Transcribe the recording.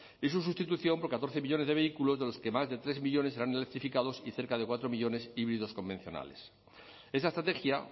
y su sustitución por catorce millónes de vehículos de los que más de tres millónes serán electrificados y cerca de cuatro millónes híbridos convencionales esa estrategia